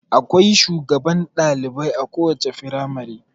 Akwai shugaban dalibai a kowace firamare.